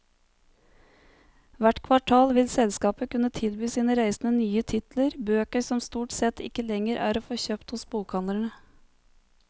Hvert kvartal vil selskapet kunne tilby sine reisende nye titler, bøker som stort sett ikke lenger er å få kjøpt hos bokhandlere.